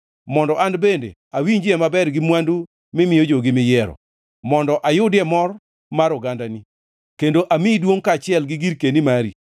mondo an bende awinjie maber gi mwandu mimiyo jogi miyiero, mondo ayudie mor mar ogandani, kendo amiyi duongʼ kaachiel gi girkeni mari.